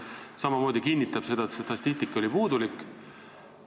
See kinnitab samamoodi seda, et statistika oli puudulik.